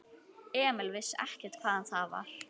Emil vissi ekkert hvaðan það var.